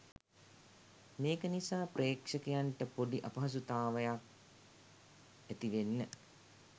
මේක නිසා ප්‍රේක්ෂකයන්ට පොඩි අපහසුතාවයක් ඇතිවෙන්න